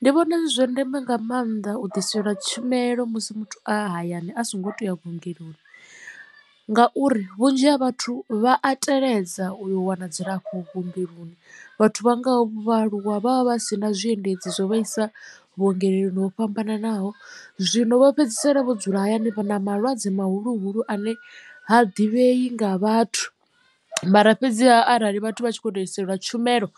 Ndi vhona zwi zwa ndeme nga maanḓa u ḓiselwa tshumelo musi muthu a hayani a songo tou ya vhuongeloni ngauri vhunzhi ha vhathu vha a teledza u wana dzilafho vhuongeloni vhathu vha ngaho vhaaluwa vha vha vha si na zwiendedzi zwo vhaisa vhuongeloni ho fhambananaho zwino vha fhedzisela vho dzula hayani na malwadze mahulu hulu ane ha ḓivhei nga vhathu. Mara fhedziha arali vhathu vha tshi khou iselwa tshumelo